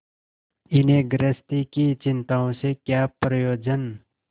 इन्हें गृहस्थी की चिंताओं से क्या प्रयोजन